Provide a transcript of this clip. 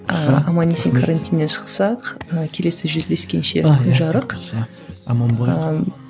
ыыы аман есен карантиннен шықсақ мына келесі жүздескенше күн жарық ыыы